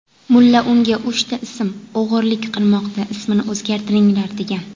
Mulla unga uchta ism og‘irlik qilmoqda, ismini o‘zgartiringlar degan.